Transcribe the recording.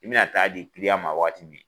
I bi na taa di ma waati min